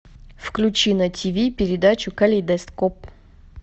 включи на тв передачу калейдоскоп